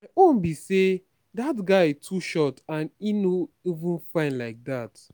my own be say dat guy too short and e no even fine like dat